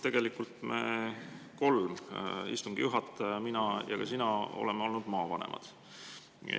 Tegelikult me kõik kolm – istungi juhataja, mina ja sina – oleme olnud maavanemad.